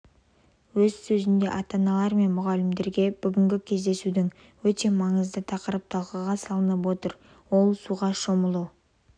өз сөзінде ата-аналар мен мұғалімдерге бүгінгі кездесудің өте маңызды тақырып талқыға салынып отыр ол суға шомылу